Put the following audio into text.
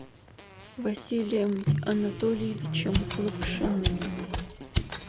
василием анатольевичем лапшиным